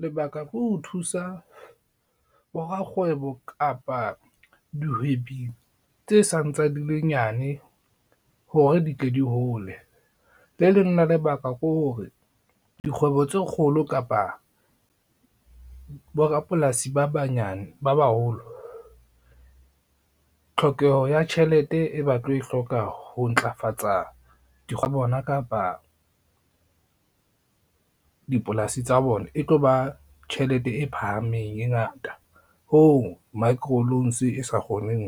Lebaka ke ho thusa borakgwebo kapa dihwebi tse sa ntsa dile nyane hore di tle di hole. Le leng la lebaka ke hore dikgwebo tse kgolo kapa, borapolasi ba baholo, tlhokeho ya tjhelete e ba tlo e hloka ho ntlafatsa tsa bona kapa, dipolasi tsa bona e tlo ba tjhelete e phahameng e ngata hoo micro loans e sa kgoneng